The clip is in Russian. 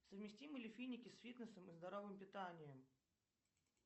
совместимы ли финики с фитнесом и здоровым питанием